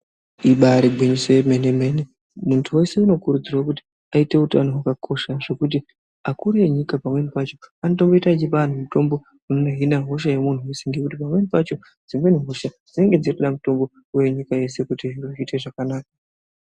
Ibaari gwinyiso yemene mene , muntu wese unokurudzirwa kuti aite utano hwakakosha zvekuti akuru enyika pamweni pacho anoita achipa vantu mitombo inodzinga hosha ngekuti pamweni pacho dzimweni hosha dzinenge dzirikuda kutomboona nyika yese kuti zviite zvakanaka.